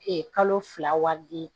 kalo fila wari di